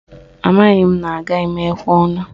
Amaghị m na agaghị m ekwe ọnụ